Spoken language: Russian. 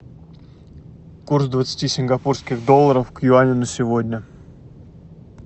курс двадцати сингапурских долларов к юаню на сегодня